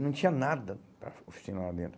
E não tinha nada para oficinar lá dentro.